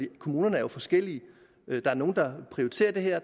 kommunerne er jo forskellige der er nogle der prioriterer det her